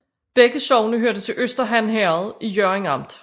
Begge sogne hørte til Øster Han Herred i Hjørring Amt